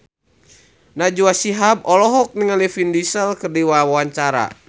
Najwa Shihab olohok ningali Vin Diesel keur diwawancara